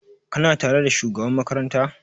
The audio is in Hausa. Ka na tare da shugaban makaranta?